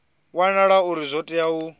wanala uri zwo tea uri